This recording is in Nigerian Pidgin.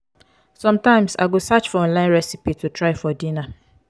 sometimes i go search for online recipes to try for dinner.